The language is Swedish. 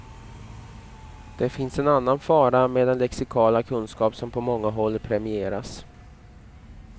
Det finns en annan fara med den lexikala kunskap som på många håll premieras.